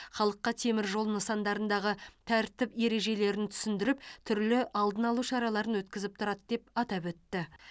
халыққа темір жол нысандарындағы тәртіп ережелерін түсіндіріп түрлі алдын алу шараларын өткізіп тұрады деп атап өтті